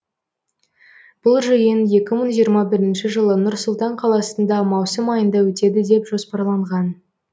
бұл жиын екі мың жиырма бірінші жылы нұр сұлтан қаласында маусым айында өтеді деп жоспарланған